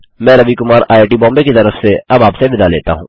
मैं Ravi Kumar I I T Bombay की तरफ से अब आपसे विदा लेता हूँ